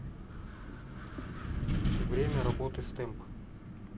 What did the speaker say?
время работы стэмп